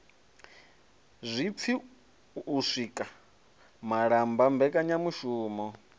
zwipfi u sika malamba mbekanyamushumo